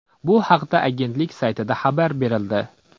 Bu haqda agentlik saytida xabar berildi .